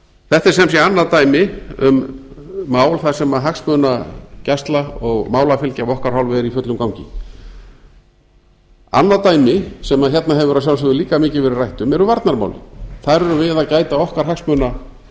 þetta er sem sé annað dæmi um mál þar sem hagsmunagæsla og málafylgja af okkar hálfu er í fullum gangi annað dæmi sem hérna hefur að sjálfsögðu líka mikið verið rætt um eru varnarmálin þar erum við að gæta okkar hagsmuna